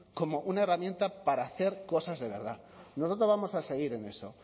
como una herramienta para hacer cosas de verdad nosotros vamos a seguir en eso